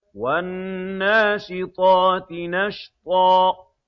وَالنَّاشِطَاتِ نَشْطًا